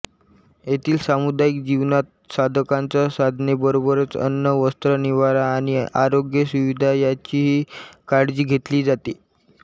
येथील सामुदायिक जीवनात साधकांच्या साधनेबरोबरच अन्न वस्त्र निवारा आणि आरोग्य सुविधा ह्याचीही काळजी घेतली जाते